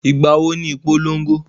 Ìgbà wo ni ìpolongo?